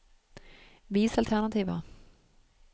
Vis alternativer